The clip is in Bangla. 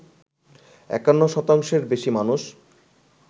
৫১ শতাংশের বেশি মানুষ